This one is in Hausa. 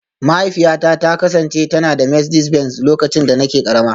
Mahaifiyata ta kasance tana da Mercedes Benz lokacin da nake karama